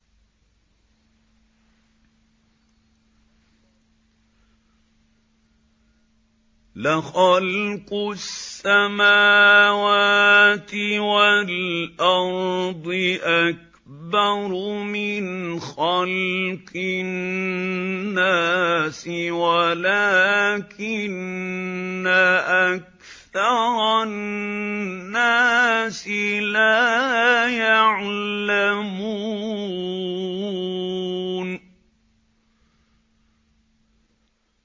لَخَلْقُ السَّمَاوَاتِ وَالْأَرْضِ أَكْبَرُ مِنْ خَلْقِ النَّاسِ وَلَٰكِنَّ أَكْثَرَ النَّاسِ لَا يَعْلَمُونَ